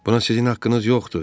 Buna sizin haqqınız yoxdur.